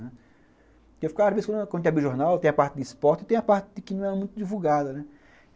quando abre jornal, tem a parte de esporte e tem a parte que não é muito divulgada, né?